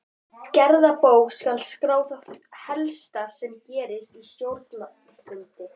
Í gerðabók skal skrá það helsta sem gerist á stjórnarfundum.